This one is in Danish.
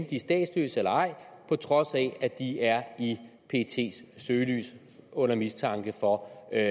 de er statsløse eller ej på trods af at de er i pets søgelys under mistanke for at